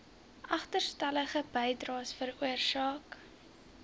agterstallige bydraes veroorsaak